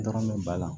Dɔrɔn bɛ ba la